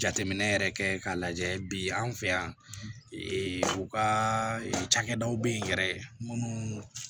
jateminɛ yɛrɛ kɛ k'a lajɛ bi an fɛ yan u ka cakɛdaw bɛ yen yɛrɛ minnu